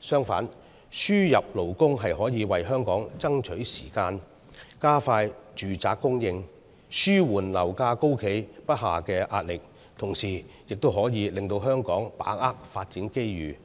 相反，輸入勞工可以為香港爭取時間，加快住宅供應，紓緩樓價高企不下的壓力，同時亦可令香港把握發展機遇，